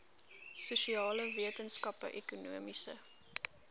sosiale wetenskappe ekonomiese